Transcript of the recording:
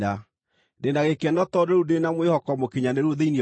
Ndĩ na gĩkeno tondũ rĩu ndĩ na mwĩhoko mũkinyanĩru thĩinĩ wanyu.